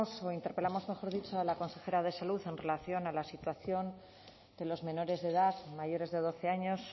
o interpelamos mejor dicho a la consejera de salud en relación a la situación de los menores de edad mayores de doce años